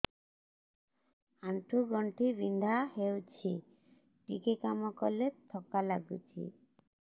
ଆଣ୍ଠୁ ଗଣ୍ଠି ବିନ୍ଧା ହେଉଛି ଟିକେ କାମ କଲେ ଥକ୍କା ଲାଗୁଚି